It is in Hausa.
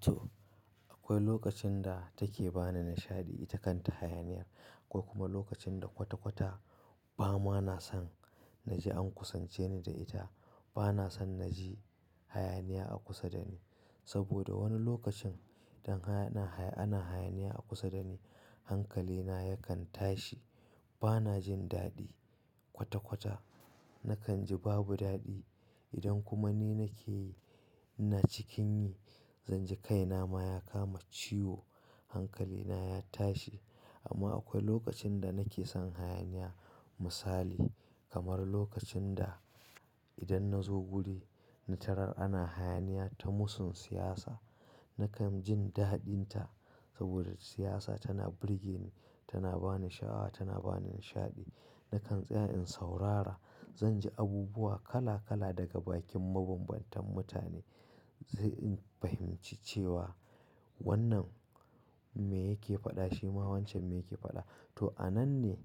To, akwai lokacin da take ba ni nishaɗi takan ta hayaniyar akwai kuma lokacin da kwata-kwata ba ma na san na ji an kusance ni da ita. Ba na san na ji hayaniya a kusa da ni. Saboda wani lokacin idan hayana, ana hayaniya a kusa da ni hankalina yakan tashi. Ba na jin daɗi. Kwata-kwata nakan ji babu daɗi. Idan kuma ni nake yi, ina cikin yi, zan ji kai na ma ya kama ciwo, hankalina ya tashi. Amma akwai lokacin da nake son hayaniya misali kamar lokacin da idan na zo guri na tarar ana hayaniya ta musun siyasa, nakan jin daɗin ta. Saboda siyasa tana burge ni, tana ba ni sha'awa, tana ba ni nishaɗi. Nakan tsaya in saurara. Zan ji abubuwa kala-kala daga bakin mabambantan mutane. Zai in fahimci cewa wannan me yake faɗa shi ma wancan me yake faɗa. To, a nan ne